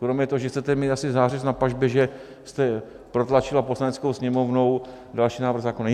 Kromě toho, že chcete mít asi zářez na pažbě, že jste protlačila Poslaneckou sněmovnou další návrh zákona?